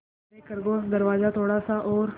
यारे खरगोश दरवाज़ा थोड़ा सा और